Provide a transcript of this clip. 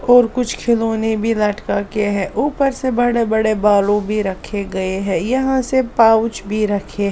और कुछ खिलौने भी लटका किए हैं ऊपर से बड़े-बड़े बालू भी रखे हैं यहां से पाउच भी रखे--